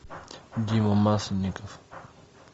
дима масленников